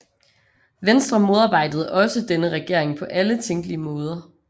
Venstre modarbejdede også denne regering på alle tænkelige måder